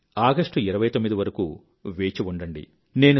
29 August వరకూ వేచిఉండండి